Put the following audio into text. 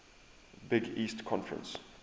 big east conference